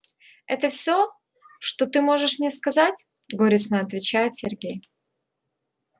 это все что ты можешь мне сказать горестно отвечает сергей